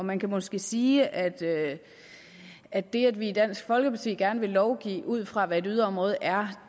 man kan måske sige at at det at vi i dansk folkeparti gerne vil lovgive ud fra hvad et yderområde er